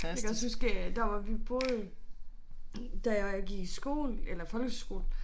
Jeg kan også huske øh dér hvor vi boede da jeg gik i skole eller folkeskole